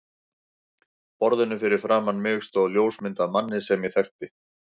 borðinu fyrir framan mig stóð ljósmynd af manni sem ég þekkti.